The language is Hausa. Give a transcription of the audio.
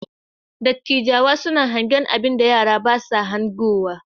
Dattijawa suna hangen abinda yara ba sa hangowa.